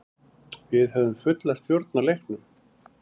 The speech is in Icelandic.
Við höfðum fulla stjórn á leiknum.